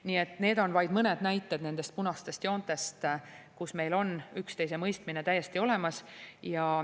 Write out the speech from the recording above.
Nii et need on vaid mõned näited nendest punastest joontest, mille puhul meil on üksteisemõistmine täiesti olemas.